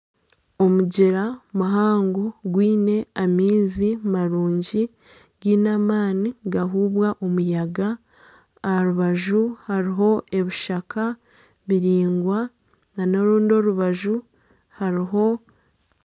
Omugyera muhango gwiine amaizi marungi giine amaani nigahuubwa omuyaga aha rubaju hariho ebishaka biraingwa n'orundi orubaju